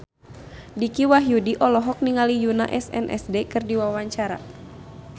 Dicky Wahyudi olohok ningali Yoona SNSD keur diwawancara